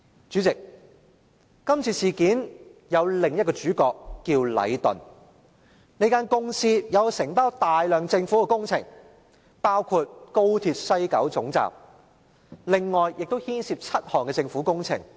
主席，這次事件有另一個主角，名為禮頓。這間公司承包大量的政府工程，包括高鐵西九龍總站，以及另外7項政府工程。